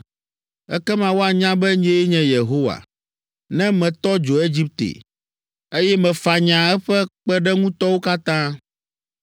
Ekema woanya be nyee nye Yehowa, ne metɔ dzo Egipte, eye mefanya eƒe kpeɖeŋutɔwo katã.